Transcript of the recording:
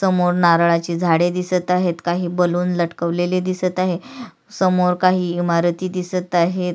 समोर नारळाची झाड दिसत आहेत काही बलून लटकवलेले दिसत आहे समोर काही इमारती दिसत आहेत.